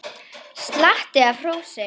Slatti af hrósi